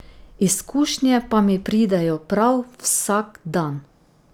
Izkušnje pa mi pridejo prav vsak dan.